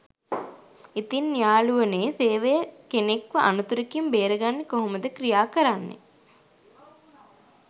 ඉතින් යාළුවනේසේවය කෙනෙක්ව අනතුරකින් බේරගන්න කොහොමද ක්‍රියා කරන්නේ?